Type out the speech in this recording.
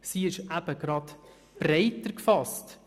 sie es eben breiter gefasst;